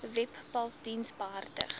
webpals diens behartig